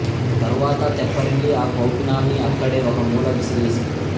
తరువాత తెప్పరిల్లి ఆ కౌపీనాన్ని అక్కడే ఒక మూల విసిరేసి